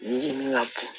Yiri min ka bon